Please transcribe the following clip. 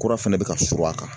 Kura fɛnɛ be ka suurun a kan.